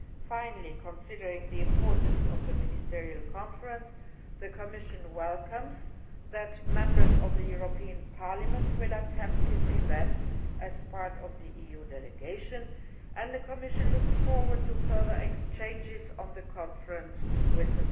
Finally, considering the importance of the Ministerial Conference, the Commission welcomes the fact that Members of the European Parliament will attend this event as part of the EU delegation, and the Commission looks forward to further exchanges on the conference with